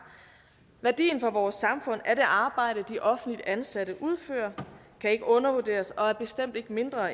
værdien for vores samfund af det arbejde de offentligt ansatte udfører kan ikke undervurderes og er bestemt ikke mindre